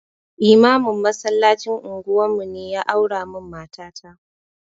Limamin masallacin unguwar mu ne ya aura min mata ta